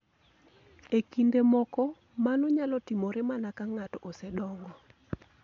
E kinde moko, mano nyalo timore mana ka ng'ato osedongo.